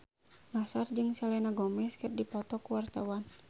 Nassar jeung Selena Gomez keur dipoto ku wartawan